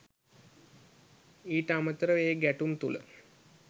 ඊට අමතරව ඒ ගැටුම් තුළ